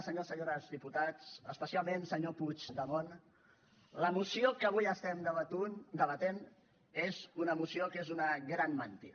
senyors i senyores diputats especialment senyor puigdemont la moció que avui estem debatent és una moció que és una gran mentida